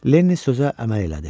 Lenni sözə əməl elədi.